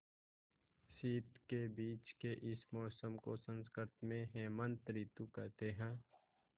शीत के बीच के इस मौसम को संस्कृत में हेमंत ॠतु कहते हैं